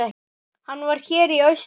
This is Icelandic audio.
Hann var hér í austur.